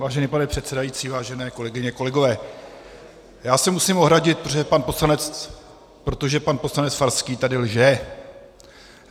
Vážený pane předsedající, vážené kolegyně, kolegové, já se musím ohradit, protože pan poslanec Farský tady lže.